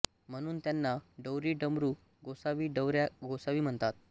म्हणून त्यांना डौरी डमरू गोसावी डवऱ्या गोसावी म्हणतात